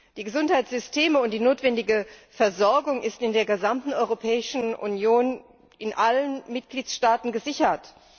Die Gesundheitssysteme und die notwendige Versorgung sind in der gesamten Europäischen Union in allen Mitgliedstaaten gesichert.